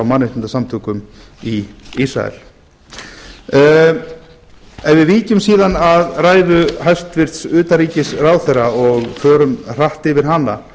mannréttindasamtökum í ísrael ef við víkjum síðan að ræðu hæstvirts utanríkisráðherra og förum hratt yfir hana